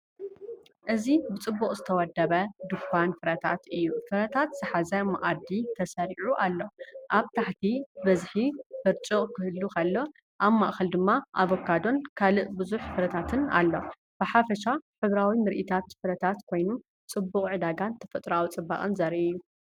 እዚ ብጽቡቕ ዝተወደበ ድኳን ፍረታት እዩ። ፍረታት ዝሓዘ መኣዲ ተሰሪዑ ኣሎ፤ ኣብ ታሕቲ ብብዝሒ በርጭቅ ክህሉ ከሎ፡ ኣብ ማእከል ድማ ኣቮካዶን ካልእ ብዙሕ ፍረታትን ኣሎ። ብሓፈሻ ሕብራዊ ምርኢት ፍረታት ኮይኑ፡ ፅበቅ ዕዳጋን ተፈጥሮኣዊ ጽባቐን ዘርኢ እዩ።